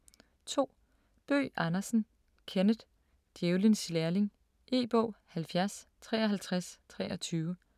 2. Bøgh Andersen, Kenneth: Djævelens lærling E-bog 705323